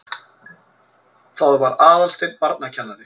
Það var Aðalsteinn barnakennari.